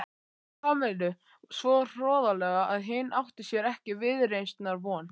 Kamillu svo hroðalega að hinn átti sér ekki viðreisnar von.